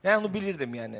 Mən onu bilirdim yəni.